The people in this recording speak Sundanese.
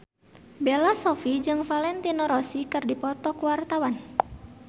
Bella Shofie jeung Valentino Rossi keur dipoto ku wartawan